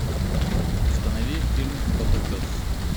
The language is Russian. установи фильм котопес